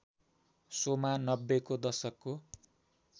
शोमा नब्बेको दशकको